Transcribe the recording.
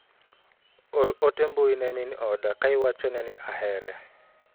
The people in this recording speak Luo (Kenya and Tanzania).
Or ote mbui ne min oda ka iwachone ni ahere.